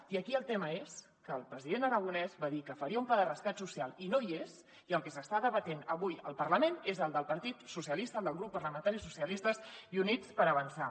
i aquí el tema és que el president aragonès va dir que faria un pla de rescat social i no hi és i el que s’està debatent avui al parlament és el del partit socialista el del grup parlamentari socialistes i units per avançar